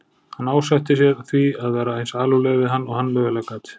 Hann ásetti sér því að vera eins alúðlegur við hann og hann mögulega gat.